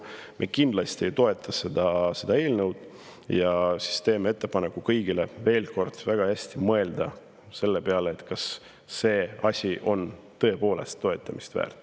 Me kindlasti ei toeta seda eelnõu ja teeme kõigile ettepaneku veel kord väga hästi mõelda, kas see eelnõu on tõepoolest toetamist väärt.